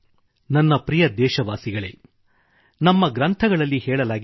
ನನ್ನ ಪ್ರಿಯ ದೇಶವಾಸಿಗಳೆ ನಮ್ಮ ಗ್ರಂಥಗಳಲ್ಲಿ ಹೇಳಲಾಗಿದೆ